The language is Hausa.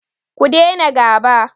Ku daina gaba!